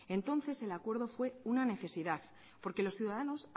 entonces el acuerdo fue una necesidad porque los ciudadanos